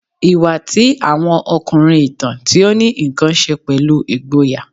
Iwa ti awọn ọkunrin, itan ti o ni nkan ṣe pẹlu igboya